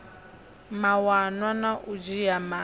mawanwa na u dzhia maga